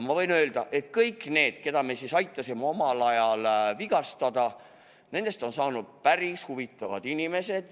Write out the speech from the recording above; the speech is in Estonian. Võin öelda, et kõigist nendest, kellel me aitasime omal ajal end vigastada, on saanud päris huvitavad inimesed.